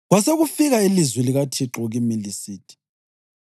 Kwasekufika ilizwi likaThixo kimi lisithi: